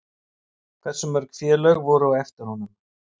En hversu mörg félög voru á eftir honum?